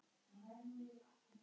Það eru hennar.